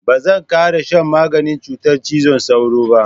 Ba zan ƙara shan maganin cutar cizon sauro.